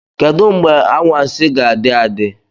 Kedu mgbe anwansi ga-adị adị?